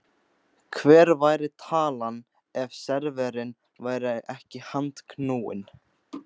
Hver væri talan ef serverinn væri ekki handknúinn?